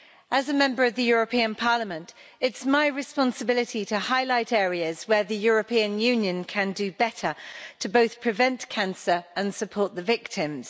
As a Member of the European Parliament, it's my responsibility to highlight areas where the European Union can do better to both prevent cancer and support the victims.